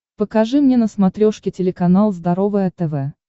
покажи мне на смотрешке телеканал здоровое тв